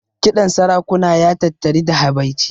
Kiɗan sarakuna ya tattari da habaici.